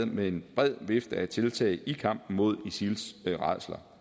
med en bred vifte af tiltag i kampen mod isils rædsler